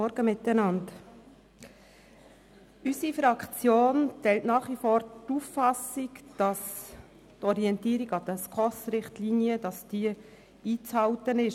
Unsere Fraktion teilt nach wie vor die Auffassung, dass die Orientierung an den SKOS-Richtlinien einzuhalten ist.